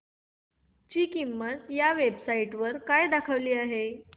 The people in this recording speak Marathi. ची किंमत या वेब साइट वर काय दाखवली आहे